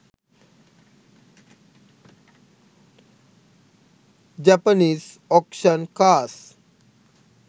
japanese auction cars